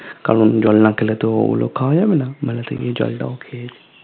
কারণ জল নাখেলে তো ঐগুলো খাবা যাবেনা মেলাতে গিয়ে জ্বল তাও খেয়েছি